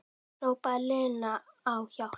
Hrópaði Lena á hjálp?